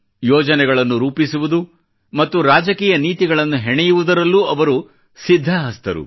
ಯೋಜನೆಗಳನ್ನು ರೂಪಿಸುವುದು ಮತ್ತು ರಾಜಕೀಯ ನೀತಿಗಳನ್ನು ಹೆಣೆಯುವುದರಲ್ಲೂ ಅವರು ಸಿದ್ಧ ಹಸ್ತರು